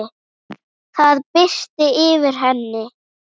Það birti yfir henni.